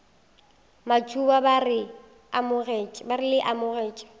matuba ba re le amogetšwe